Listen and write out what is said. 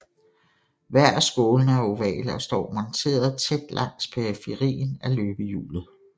Hver af skålene er ovale og står monterede tæt langs periferien af løbehjulet